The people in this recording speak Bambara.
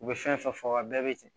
U bɛ fɛn fɛn fɔ a bɛɛ bɛ ten